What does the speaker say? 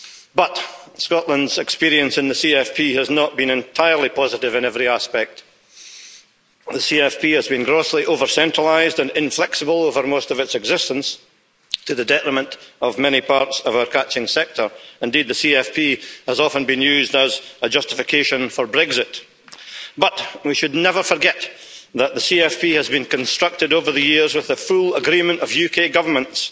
But Scotland's experience in the common fisheries policy has not been entirely positive in every aspect. The CFP has been grossly over-centralised and inflexible over most of its existence, to the detriment of many parts of our catching sector. Indeed, the CFP has often been used as a justification for Brexit. But we should never forget that the CFP has been constructed over the years with the full agreement of UK governments,